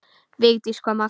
Vigdís kom aftur.